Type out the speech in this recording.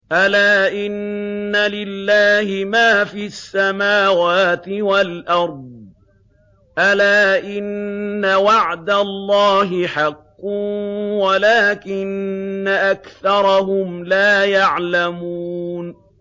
أَلَا إِنَّ لِلَّهِ مَا فِي السَّمَاوَاتِ وَالْأَرْضِ ۗ أَلَا إِنَّ وَعْدَ اللَّهِ حَقٌّ وَلَٰكِنَّ أَكْثَرَهُمْ لَا يَعْلَمُونَ